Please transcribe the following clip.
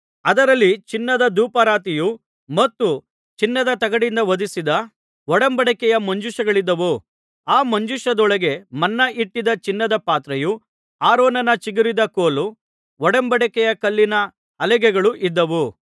ಅದರಲ್ಲಿ ಚಿನ್ನದ ಧೂಪಾರತಿಯು ಮತ್ತು ಚಿನ್ನದ ತಗಡಿನಿಂದ ಹೊದಿಸಿದ ಒಡಂಬಡಿಕೆಯ ಮಂಜೂಷಗಳಿದ್ದವು ಆ ಮಂಜೂಷದೊಳಗೆ ಮನ್ನ ಇಟ್ಟಿದ್ದ ಚಿನ್ನದ ಪಾತ್ರೆಯೂ ಆರೋನನ ಚಿಗುರಿದ ಕೋಲೂ ಒಡಂಬಡಿಕೆಯ ಕಲ್ಲಿನ ಹಲಿಗೆಗಳೂ ಇದ್ದವು